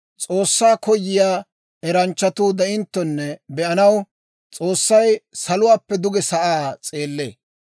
S'oossaa koyiyaa eranchchatuu de'inttonne be'anaw, S'oossay saluwaappe duge asaa s'eellee.